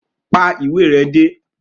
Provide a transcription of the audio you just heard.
Pa ìwé re dé!